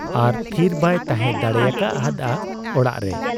ᱟᱨ ᱛᱷᱤᱨ ᱵᱟᱭ ᱛᱟᱦᱮᱸ ᱫᱟᱲᱮᱭᱟᱠᱟ ᱦᱟᱫ ᱟ ᱚᱲᱟᱜ ᱨᱮ ᱾